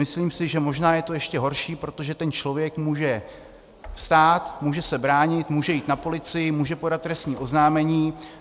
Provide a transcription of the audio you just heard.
Myslím si, že možná je to ještě horší, protože ten člověk může vstát, může se bránit, může jít na policii, může podat trestní oznámení.